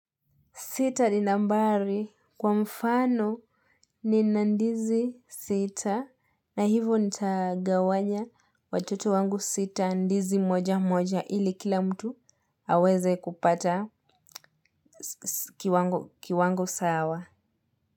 Sita ni nambari kwa mfano nina ndizi sita na hivo nitagawanya watoto wangu sita ndizi mmoja mmoja ili kila mtu aweze kupata kiwango sawa.